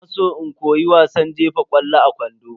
Ina san in koyi wasan jefa ƙwallo a kwando.